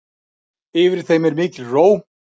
Yfir þeim er mikil ró.